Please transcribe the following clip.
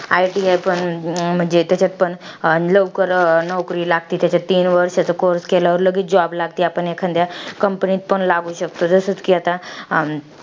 ITI पण त्याच्यात पण लवकर नोकरी लागती. त्याच्यात तीन वर्षाचा course केल्यावर लगीच job लागती. आपण एखान्द्या company मध्ये पण लागू शकतो. जसं कि आता,